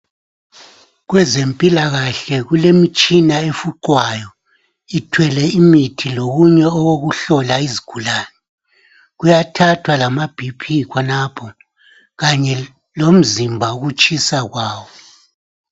Kwezempilakahle kulemitshina efuqwayo ithwele imithi lokunye okokuhlola izigulane. Kuyathathwa lama B.P khonapho kanye lomzimba ukutshisa kwawo.